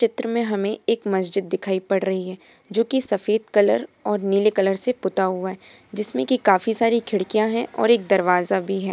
चित्र में हमे एक मस्जिद दिखाई पड़ रही है जो की सफेद कलर और नीले कलर से पुता हुआ है जिसमे की काफी सारी खिड़कियां है और एक दरवाजा भी है।